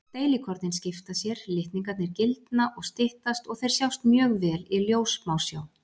Deilikornin skipta sér, litningarnir gildna og styttast og þeir sjást mjög vel í ljóssmásjá.